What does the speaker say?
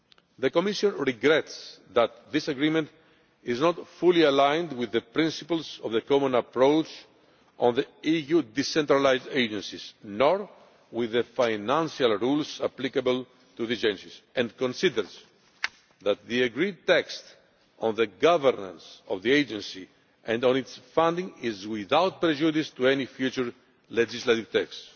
The Commission regrets that this agreement is not fully aligned with the principles of the Common Approach on the EU decentralised agencies nor with the financial rules applicable to these agencies and considers that the agreed text on the governance of the agency and on its funding is without prejudice to any future legislative texts.